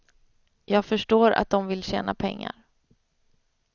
Jag förstår att de vill tjäna pengar.